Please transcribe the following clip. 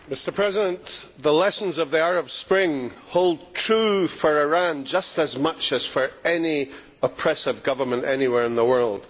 Mr President, the lessons of the Arab Spring hold true for Iran just as much as for any oppressive government anywhere in the world.